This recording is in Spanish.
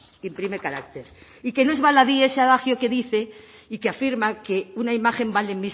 imprime carácter y que no es baladí ese adagio que dice y que afirma que una imagen vale